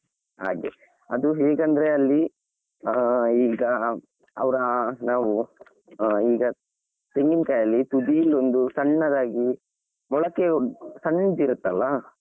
ಹಾಗೆ ಅದು ಹೇಗೆ ಅಂದ್ರೆ ಅಲ್ಲಿ ಆ ಈಗ ಅವರ ನಾವು ಈಗ ತೆಂಗಿನಕಾಯಿಯಲ್ಲಿ ತುದಿಲಿ ಒಂದು ಸಣ್ಣದಾಗಿ ಮೊಳಕೆ ಸಣ್ಣದಿರುತ್ತಲ್ಲಾ.